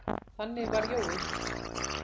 Þannig var Jói.